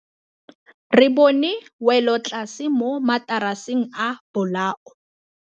Re bone wêlôtlasê mo mataraseng a bolaô.